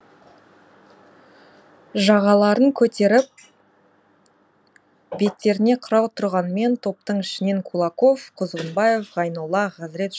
жағаларын көтеріп беттеріне қырау тұрғанмен топтың ішінен кулаков құзғынбаев ғайнолла хазірет